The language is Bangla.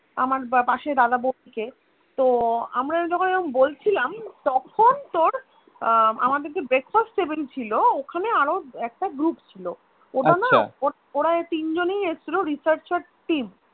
আমার পাশে দাদা বসছে তো আমরা যখন বলছিলাম তখন তোর আহ আমদের যে Breakfast table ছিল ওখানে আরো একটা group ছিল ওরা তিনজনই এসছিল Researcher team